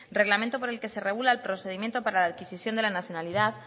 reglamento por el que se regula el procedimiento para la adquisición de la nacionalidad